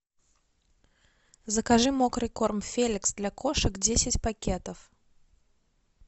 закажи мокрый корм феликс для кошек десять пакетов